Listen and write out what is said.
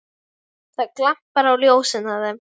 Það glampar á ljósin af þeim.